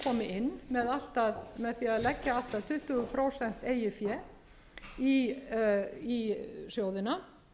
inn með því að leggja allt að tuttugu prósent eigið fé í sjóðina